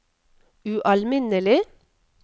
ualminnelig